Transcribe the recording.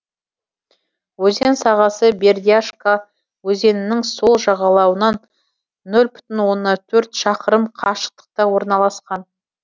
өзен сағасы бердяшка өзенінің сол жағалауынан нөл бүтін оннан төрт шақырым қашықтықта орналасқан